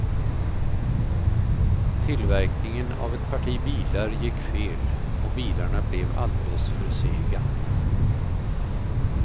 Tillverkningen av ett parti bilar gick fel och bilarna blev alldeles för sega.